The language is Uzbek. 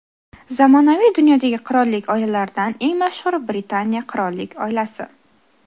Zamonaviy dunyodagi qirollik oilalaridan eng mashhuri Britaniya qirollik oilasi.